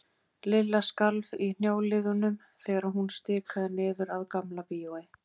Lilla skalf í hnjáliðunum þegar hún stikaði niður að Gamla bíói.